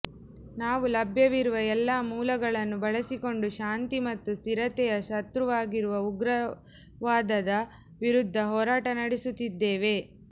ನಾವು ಲಭ್ಯವಿರುವ ಎಲ್ಲ ಮೂಲಗಳನ್ನು ಬಳಸಿಕೊಂಡು ಶಾಂತಿ ಮತ್ತು ಸ್ಥಿರತೆಯ ಶತ್ರುವಾಗಿರುವ ಉಗ್ರವಾದದ ವಿರುದ್ಧ ಹೋರಾಟ ನಡೆಸುತ್ತಿದ್ದೇವೆ